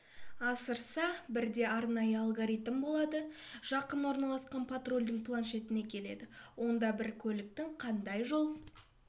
асырса бірде арнайы алгоритм болады жақын орналасқан патрульдің планшетіне келеді онда бір көліктің қандай жол